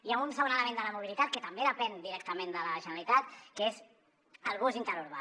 hi ha un segon element de la mobilitat que també depèn directament de la generalitat que és el bus interurbà